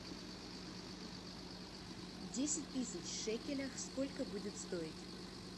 десять тысяч в шекелях сколько будет стоить